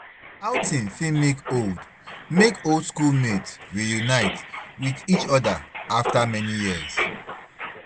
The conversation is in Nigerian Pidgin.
Outing fit make old make old school mate re-unite with each oda after many years